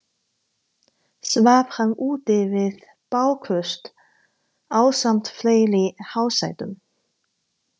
Svaf hann úti við bálköst ásamt fleiri hásetum.